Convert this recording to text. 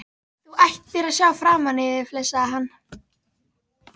Þú ættir að sjá framan í þig! flissaði hann.